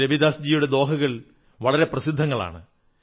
സന്ത് രവിദാസ്ജിയുടെ ദോഹകൾ വളരെ പ്രസിദ്ധങ്ങളാണ്